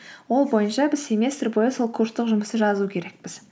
ол бойынша біз семестр бойы сол курстық жұмысты жазу керекпіз